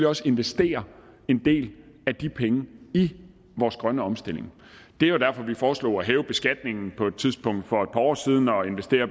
også investere en del af de penge i vores grønne omstilling det er jo derfor vi foreslog at hæve beskatningen på et tidspunkt for et par år siden og investere